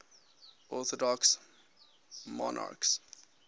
orthodox monarchs